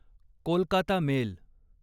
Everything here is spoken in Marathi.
कोलकाता मेल